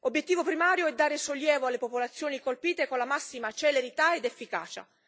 Obiettivo primario è dare sollievo alle popolazioni colpite, con la massima celerità ed efficacia.